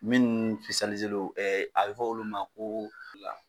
Minnu don, a bɛ f'olu ma ko fila.